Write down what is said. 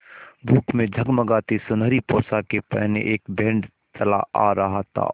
धूप में जगमगाती सुनहरी पोशाकें पहने एक बैंड चला आ रहा था